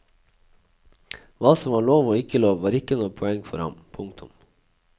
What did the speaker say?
Hva som var lov og ikke lov var ikke noe poeng for ham. punktum